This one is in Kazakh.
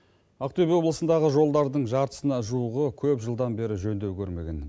ақтөбе облысындағы жолдардың жартысына жуығы көп жылдан бері жөндеу көрмеген